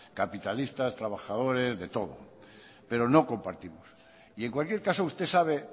capitalistas trabajadores de todo pero no compartimos y en cualquier caso usted sabe